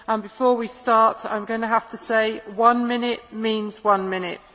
Before we start, I am going to have to say that one minute means one minute.